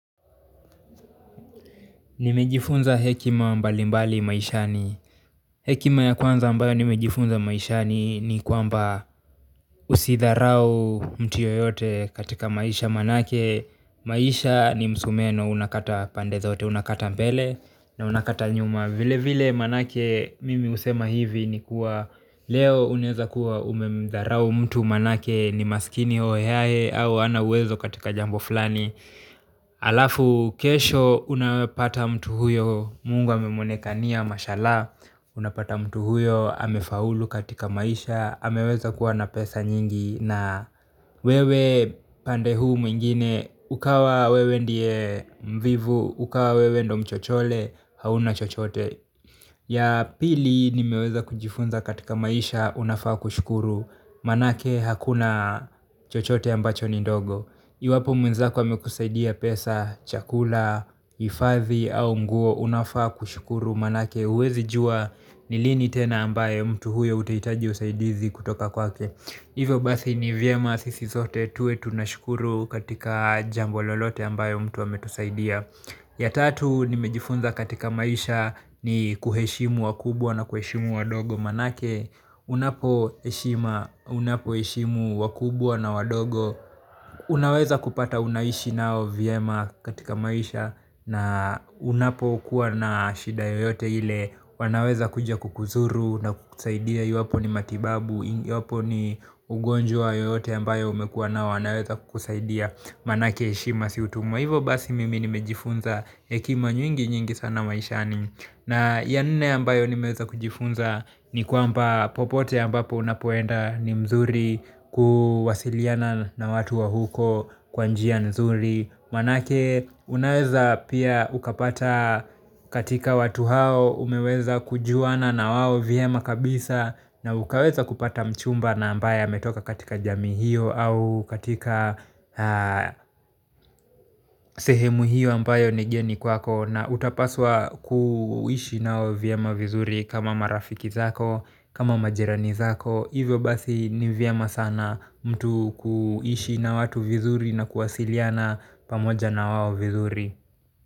Nimejifunza hekima mbali mbali maishani hekima ya kwanza ambayo nimejifunza maishani ni kwamba usidharau mtu yoyote katika maisha maanake maisha ni msumeno unakata pande zote unakata mbele na unakata nyuma vile vile maanake mimi husema hivi ni kuwa leo unaweza kuwa umemdharau mtu maanake ni maskini hohe hahe au hana uwezo katika jambo fulani. Alafu kesho unapata mtu huyo Mungu ame mwonekania mashala unapata mtu huyo amefaulu katika maisha ameweza kuwa na pesa nyingi na wewe upande huu mwingine ukawa wewe ndiye mvivu ukawa wewe ndio mchochole hauna chochote ya pili nimeweza kujifunza katika maisha unafaa kushukuru maanake hakuna chochote ambacho ni ndogo. Iwapo mwenzako amekusaidia pesa, chakula, hifathi au nguo unafaa kushukuru maanake huwezi jua ni lini tena ambaye mtu huyo utahitaji usaidizi kutoka kwake hivyo basi ni vyema sisi sote tuwe tunashukuru katika jambo lolote ambalo mtu ametusaidia. Ya tatu nimejifunza katika maisha ni kuheshimu wakubwa na kuheshimu wadogo maanake unapo heshima, unapo heshimu wakubwa na wadogo unaweza kupata unaishi nao vyema katika maisha na unapo kuwa na shida yoyote ile wanaweza kuja kukuzuru na kusaidia iwapo ni matibabu iwapo ni ugonjwa yoyote ambayo umekuwa nayo wanaweza kukusaidia maanake heshima si utumwa. Hivo basi mimi nimejifunza hekima nyingi nyingi sana maishani na ya nne ambayo nimeweza kujifunza ni kwamba popote ambapo unapoenda ni mzuri kuwasiliana na watu wa huko kwa njia mzuri msanake unaweza pia ukapata katika watu hao umeweza kujuana na wao vyema kabisa na ukaweza kupata mchumba na ambaye ametoka katika jamii hiyo au katika sehemu hiyo ambayo ni geni kwako na utapaswa kuishi nao vyema vizuri kama marafiki zako kama majirani zako hivyo basi ni vyema sana mtu kuishi na watu vizuri na kuwasiliana pamoja na wao vizuri.